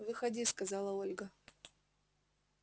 выходи сказала ольга